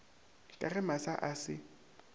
ka ge masa a se